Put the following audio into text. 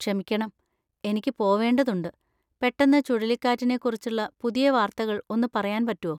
ക്ഷമിക്കണം, എനിക്ക് പോവേണ്ടതുണ്ട്, പെട്ടെന്ന് ചുഴലിക്കാറ്റിനെ കുറിച്ചുള്ള പുതിയ വാർത്തകൾ ഒന്ന് പറയാൻ പറ്റോ?